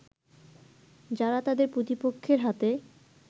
যারা তাদের প্রতিপক্ষের হাতে